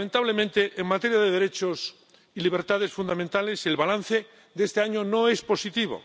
Lamentablemente, en materia de derechos y libertades fundamentales el balance de este año no es positivo.